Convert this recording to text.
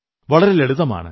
വളരെ ലളിതമാണ്